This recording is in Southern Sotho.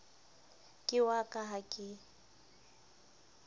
ke wa ka ha ke